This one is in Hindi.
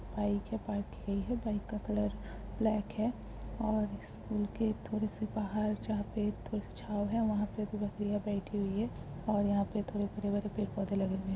बाइक है। बाइक यही है बाइक का कलर ब्लैक है और स्कूल के थोड़े से बाहर जहां पे थोड़े छांव है वहां पे दो बकरियां बैठी हुई हैं और यहाँ पे थोड़े हरे भरे पेड़ पौधे लगे हुए हैं ।